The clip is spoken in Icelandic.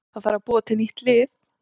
Það þarf að búa til nýtt lið.